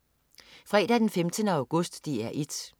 Fredag den 15. august - DR 1: